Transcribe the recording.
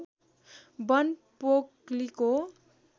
वन पोकलीको